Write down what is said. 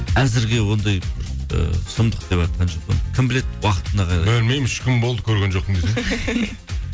әзірге ондай бір ыыы сұмдық деватқан жоқпын кім біледі уақытына қарай білмеймін үш күн болды көрген жоқпын